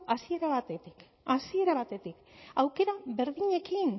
hasiera batetik hasiera batetik aukera berdinekin